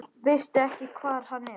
Veistu ekki hvar hann er?